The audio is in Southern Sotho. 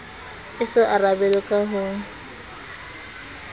e so arabelwe ka ho